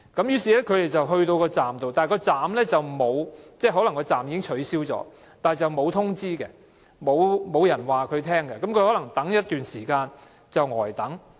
於是，他們到達巴士站時，可能車站已經取消但卻沒有通知，亦沒有人告訴他們，因而要呆等一段時間。